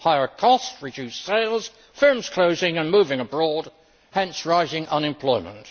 Higher costs, reduced sales, firms closing and moving abroad, leading to rising unemployment.